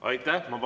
Aitäh!